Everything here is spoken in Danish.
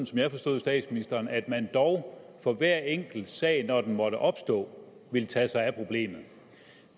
som jeg forstod statsministeren at man dog for hver enkelt sag når den måtte opstå ville tage sig af problemet